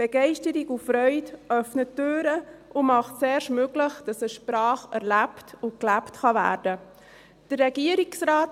Begeisterung und Freude öffnen Türen und machen erst möglich, dass eine Sprache erlebt und gelebt werden kann.